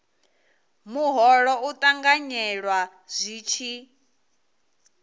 muholo u ṱanganyelwa zwi tshi